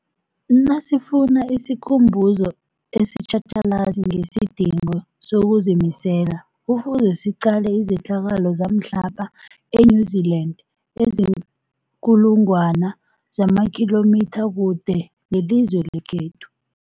Nasifuna isikhumbuzo esitjhatjhalazi ngesidingo sokuzimisela, Kufuze siqale izehlakalo zamhlapha e-New Zealand eziinkulu ngwana zamakhilomitha kude nelizwe lekhethu.